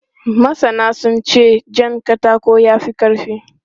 Masana sun ce jan katako ya fi ƙarfi.